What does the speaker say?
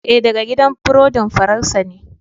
Ee, daga gidan burodin Faransa ne.